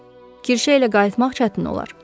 Kirşə ilə qayıtmaq çətin olar.